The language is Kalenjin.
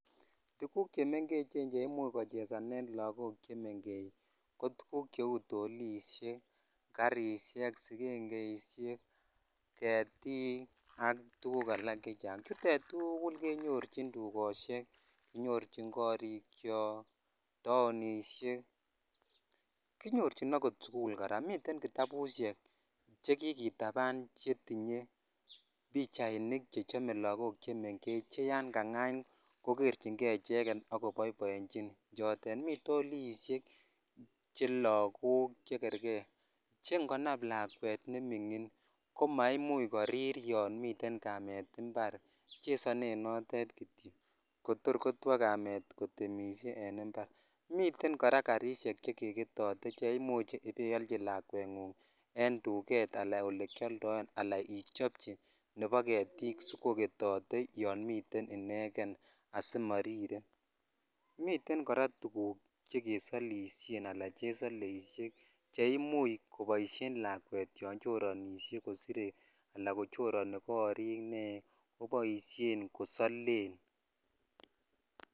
Tuguuk chemengechen cheimuch kochesanen lakok chemengech kotuguuk cheu toliisiek ,karisiek, sikengeisiek, ketik ak tuguuk alak chechang tuguchutet kenyorchin dukosiek kinyorchin korikyok ,townisiek ,kinyorchin akot sikul kora miten kitabusiek chekikitaban chetinye pichaisiek chechome lakok chemengech cheyan kang'any kokerchinge icheket akoboiboenjin chotet mi toliisiek chelakok chekerke chengonam lakwet neming'in komaimuch korir yotemisiek kamet en mbar chesonen notet kityok kotor kotwo kamet kotemisie en mbar, miten kora karisiek chekeketote cheimuch ibealchi lakwengung en duket alan olekyoldoen ala ichopchi nepo ketik sikoketote yomiten ineken asimorire miten kora tukuk chekesolisien ala chesoleisiek cheimuch koboisien lakwek yonchoronisiek kosire alan kochoroni korik nee koboisien kosolen.